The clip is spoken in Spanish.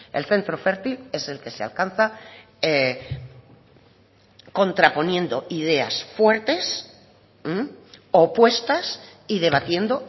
el centro fértil es el que se alcanza contraponiendo ideas fuertes opuestas y debatiendo